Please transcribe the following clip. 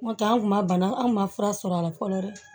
N'o tɛ an kun ma bana anw ma fura sɔrɔ a la fɔlɔ dɛ